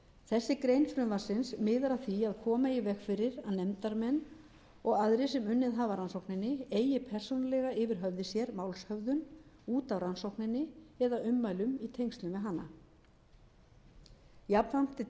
þessi grein frumvarpsins miðar að því að koma í veg fyrir að nefndarmenn og aðrir sem unnið hafa að rannsókninni eigi persónulega yfir höfði sér málshöfðun út af rannsókninni eða ummælum í tengslum við hana jafnframt er